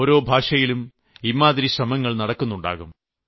ഓരോ ഭാഷയിലും ഇമ്മാതിരി ശ്രമങ്ങൾ നടക്കുന്നുണ്ടാകും